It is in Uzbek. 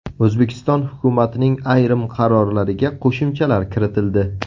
O‘zbekiston hukumatining ayrim qarorlariga qo‘shimchalar kiritildi.